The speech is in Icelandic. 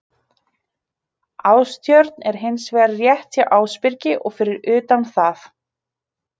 Ástjörn er hins vegar rétt hjá Ásbyrgi og fyrir utan það.